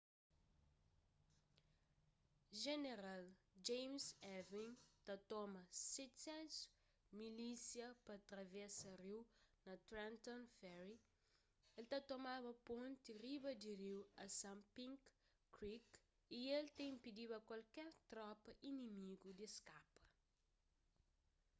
jeneral james ewing ta toma 700 milísia pa travesa riu na trenton ferry el ta tomaba ponti riba di riu assunpink creek y el ta inpidiba kualker tropa inimigu di skapa